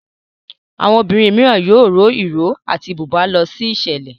Àwọn obìrin míràn yóò rọ iró àti buba ló sí iṣẹlẹ.